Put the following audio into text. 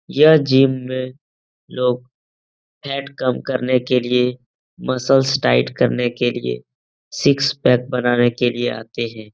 यह जिम में लोग फैट कम करने के लिएमसलस टाइट करने के लिएसिक्स पैक बनाने के लिए आते हैं।